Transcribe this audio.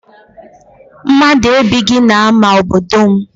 Mmadụ ebighị n'ama obodo m.